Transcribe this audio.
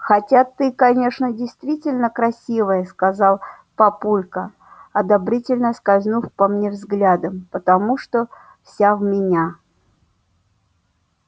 хотя ты конечно действительно красивая сказал папулька одобрительно скользнув по мне взглядом потому что вся в меня